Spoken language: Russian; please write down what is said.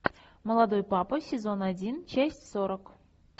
молодой папа сезон один часть сорок